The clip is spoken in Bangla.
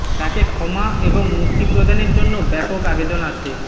তাকে ক্ষমা এবং মুক্তি প্রদানের জন্য ব্যাপক আবেদন আসে